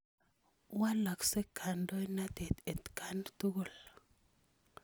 Walakse kandoinatet atkan tukul.